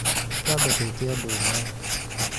twambe twĩke ũndũ ũmwe